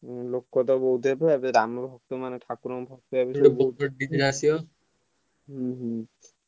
ଉହୁଁ ଲୋକ ତ ବହୁତ ହେବେ ଏବେ ରାମନବମୀ ମାନେ ଠାକୁର ହୁଁ ହୁଁ